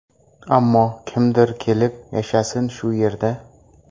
Ammo kimdir kelib yashasin shu yerda.